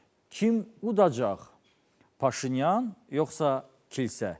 kim udacaq Paşinyan yoxsa kilsə?